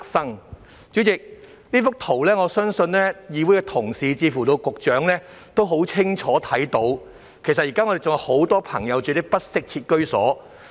代理主席，我相信從我手上這幅圖片，議會同事以至局長也很清楚看到，現時還有很多朋友居住於不適切居所。